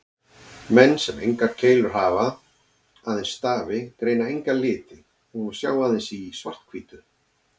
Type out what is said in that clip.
Menn sem engar keilur hafa, aðeins stafi, greina enga liti og sjá aðeins í svart-hvítu.